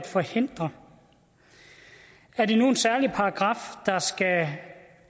forhindre er det nu en særlig paragraf der skal